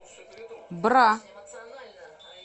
бра